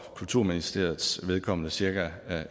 kulturministeriets vedkommende cirka